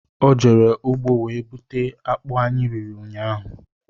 Ọ jere ugbo wee buta akpụ anyị riri ụnyaahụ